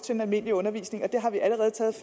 den almindelige undervisning og det har vi allerede taget